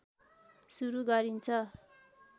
सुरु गरिन्छ